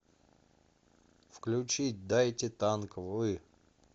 включить дайте танк вы